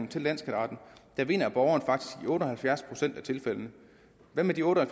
til landsskatteretten vinder borgerne faktisk i otte og halvfjerds procent af tilfældene hvad med de otte og